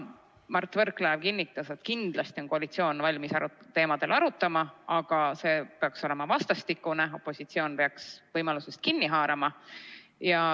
Mart Võrklaev kinnitas, et kindlasti on koalitsioon valmis neil teemadel arutama, aga see peaks olema vastastikune, opositsioon peaks võimalusest kinni haarama.